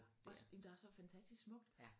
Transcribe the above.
Også jamen der er så fantastisk smukt